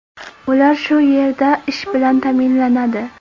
Ular shu yerda ish bilan ta’minlanadi.